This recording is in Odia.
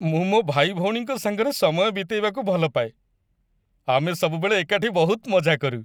ମୁଁ ମୋ ଭାଇଭଉଣୀଙ୍କ ସାଙ୍ଗରେ ସମୟ ବିତେଇବାକୁ ଭଲପାଏ । ଆମେ ସବୁବେଳେ ଏକାଠି ବହୁତ ମଜା କରୁ ।